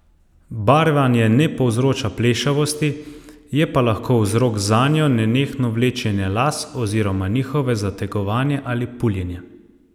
Barvanje ne povzroča plešavosti, je pa lahko vzrok zanjo nenehno vlečenje las oziroma njihovo zategovanje ali puljenje.